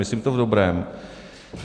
Myslím to v dobrém.